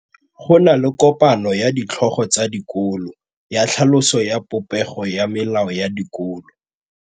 Go na le kopanô ya ditlhogo tsa dikolo ya tlhaloso ya popêgô ya melao ya dikolo.